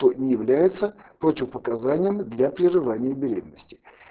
то не является противопоказанием для прерывания беременности